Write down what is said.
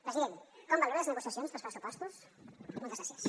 president com valora les negociacions per als pressupostos moltes gràcies